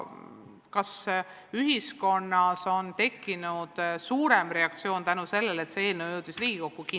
Kas ühiskonnas on tekkinud suurem reaktsioon tänu sellele, et see eelnõu jõudis Riigikokku?